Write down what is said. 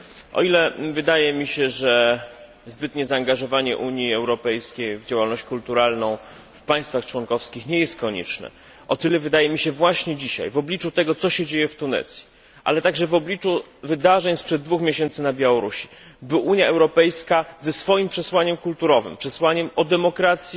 O ile wydaje mi się, że zbytnie zaangażowanie Unii Europejskiej w działalność kulturalną w państwach członkowskich nie jest konieczne, o tyle właśnie dzisiaj, w obliczu tego, co się dzieje w Tunezji, ale także w obliczu wydarzeń sprzed dwóch miesięcy na Białorusi, ważne jest, by Unia Europejska ze swoim przesłaniem kulturowym, przesłaniem o demokracji,